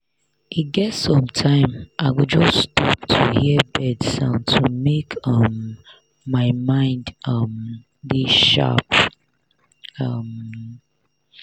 e get sometime i go just stop to hear bird sound to make um my mind um dey sharp. um